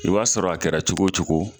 I b'a sɔrɔ a kɛra cogo o cogo